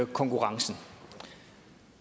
konkurrencen